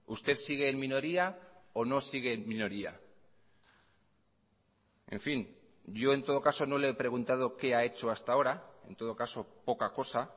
usted sigue en minoría o no sigue en minoría en fin yo en todo caso no le he preguntado qué ha hecho hasta ahora en todo caso poca cosa